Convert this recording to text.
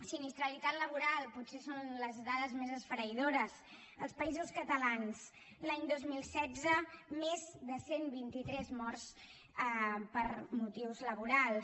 sinistralitat laboral potser són les dades més esfereïdores als països catalans l’any dos mil setze més de cent i vint tres morts per motius laborals